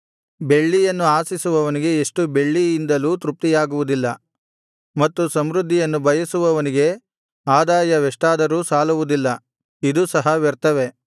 ಬೆಳ್ಳಿಯನ್ನು ಆಶಿಸುವವನಿಗೆ ಎಷ್ಟು ಬೆಳ್ಳಿಯಿಂದಲೂ ತೃಪ್ತಿಯಾಗುವುದಿಲ್ಲ ಮತ್ತು ಸಮೃದ್ಧಿಯನ್ನು ಬಯಸುವವನಿಗೆ ಆದಾಯವೆಷ್ಟಾದರೂ ಸಾಲುವುದಿಲ್ಲ ಇದೂ ಸಹ ವ್ಯರ್ಥವೇ